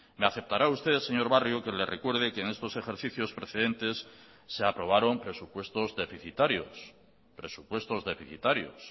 me aceptará usted señor barrio que le recuerde que en estos ejercicios precedentes se aprobaron presupuestos deficitarios presupuestos deficitarios